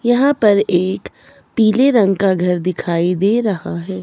यहां पर एक पीले रंग का घर दिखाई दे रहा है।